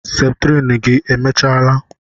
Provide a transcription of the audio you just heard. Septrin gị emechaala?